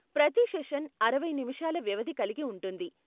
ప్రతి సెషన్ అరవై నిముషాల వ్యవధి కలిగి ఉంటుంది.